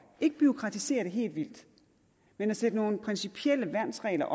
ikke bureaukratisere det helt vildt men sætte nogle principielle værnsregler